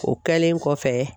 O kɛlen kɔfɛ.